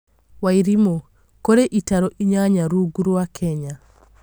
Wairimu: kũrĩ itarũ inyanya rungu rwa Kenya